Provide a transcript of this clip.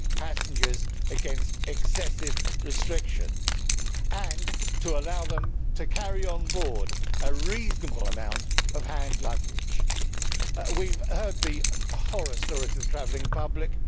passengers against excessive restrictions and to allow them to carry on board a reasonable amount of hand luggage. We have heard the horror stories of the travelling public